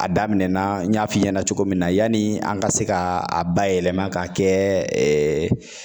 A daminɛna n y'a f'i ɲɛna cogo min na yani an ka se ka a bayɛlɛma ka kɛ